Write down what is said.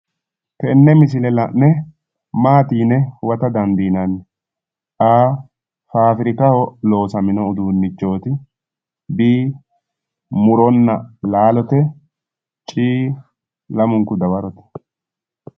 Tenne misile la'ne maati yine huwata dandiinanni a, fabirikaho loosamino uduunichooti b,murona laalote c, lamunku dawarote.